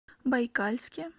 байкальске